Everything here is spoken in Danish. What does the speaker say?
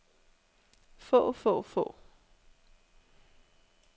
få få få